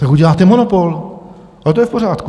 Tak uděláte monopol a to je v pořádku.